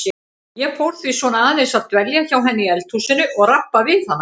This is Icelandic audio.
Ég fór því svona aðeins að dvelja hjá henni í eldhúsinu og rabba við hana.